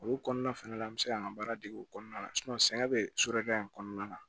Olu kɔnɔna fɛnɛ la an be se ka an ka baara dege o kɔnɔna la sɛgɛn bɛ so dɔ in kɔnɔna na